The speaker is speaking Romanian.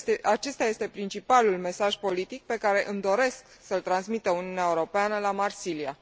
Acesta este principalul mesaj politic pe care îmi doresc să îl transmită Uniunea Europeană la Marsilia.